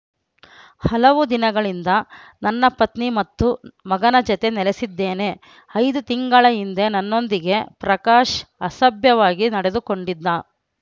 ಹಲವು ದಿನಗಳಿಂದ ನನ್ನ ಪತ್ನಿ ಮತ್ತು ಮಗನ ಜತೆ ನೆಲೆಸಿದ್ದೇನೆ ಐದು ತಿಂಗಳ ಹಿಂದೆ ನನ್ನೊಂದಿಗೆ ಪ್ರಕಾಶ್‌ ಅಸಭ್ಯವಾಗಿ ನಡೆದುಕೊಂಡಿದ್ದ